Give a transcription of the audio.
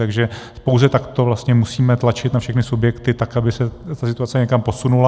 Takže pouze takto vlastně musíme tlačit na všechny subjekty, tak aby se ta situace někam posunula.